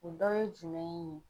O dɔ ye jumɛn ye?